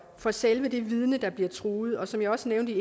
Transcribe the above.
for selve det vidne der bliver truet og som jeg også nævnte i